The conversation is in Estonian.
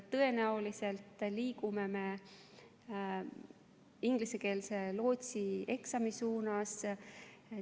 Tõenäoliselt liigume ingliskeelse lootsieksami suunas.